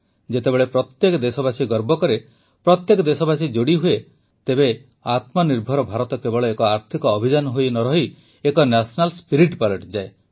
ଯେତେବେଳେ ପ୍ରତ୍ୟେକ ଦେଶବାସୀ ଗର୍ବ କରେ ପ୍ରତ୍ୟେକ ଦେଶବାସୀ ଯୋଡ଼ି ହୁଏ ତେବେ ଆତ୍ମନିର୍ଭର ଭାରତ କେବଳ ଏକ ଆର୍ଥିକ ଅଭିଯାନ ହୋଇ ନରହି ଏକ ନ୍ୟାସନାଲ ସ୍ପିରିଟ୍ ପାଲଟିଯାଏ